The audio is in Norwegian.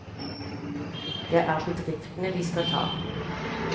Det er bedriftene vi skal ta.